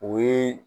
O ye